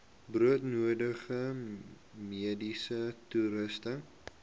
broodnodige mediese toerusting